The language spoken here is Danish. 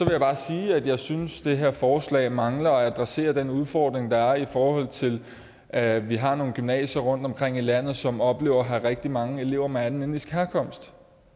jeg bare sige at jeg synes at det her forslag mangler at adressere den udfordring der er i forhold til at vi har nogle gymnasier rundtomkring i landet som oplever at have rigtig mange elever med anden etnisk herkomst